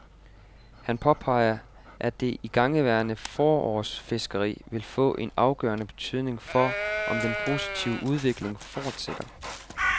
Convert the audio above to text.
Han påpeger, at det igangværende forårsfiskeri vil få en afgørende betydning for, om den positive udvikling fortsætter.